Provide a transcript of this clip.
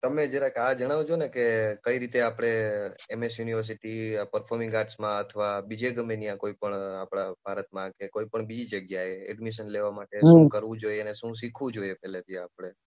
તમે જરાક આ જણાવજો ને કે કઈ રીતે આપણે એમએસ યુનિવર્સિટી પફોર્મન્સ ક્લાસમાં અથવા બીજે ગમે ત્યાં કોઈ પણ આપણા ભારતમાં કે કોઈપણ બીજી જગ્યાએ એડમિશન લેવા માટે શું કરવું જોઈએ અને શું શીખવું જોઈએ એટલે આપણે થી